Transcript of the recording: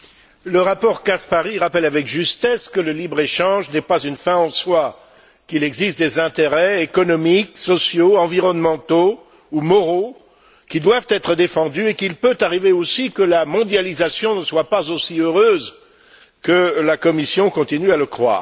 Le rapport Caspary rappelle avec justesse que le libre échange n'est pas une fin en soi, qu'il existe des intérêts économiques, sociaux, environnementaux ou moraux qui doivent être défendus et qu'il peut arriver aussi que la mondialisation ne soit pas aussi heureuse que la Commission continue à le croire.